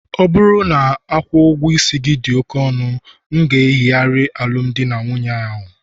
ọ bụrụ na ị na-akwụ ụgwọ dị oke ọnụ, m ga-eyigharị alụmdi na nwunye ahụ